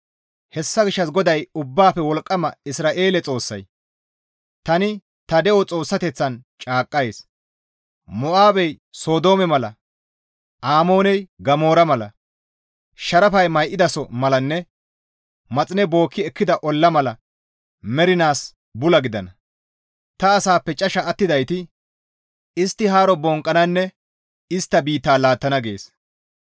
Hessa gishshas GODAY Ubbaafe Wolqqama Isra7eele Xoossay, «Tani ta de7o Xoossateththan caaqqays; Mo7aabey Sodoome mala Amooney Gamoora mala, sharafay may7idaso malanne maxine bookki ekkida olla mala mernaas bula gidana. Ta asaappe casha attidayti istta haaro bonqqananne istta biittaa laattana» gees.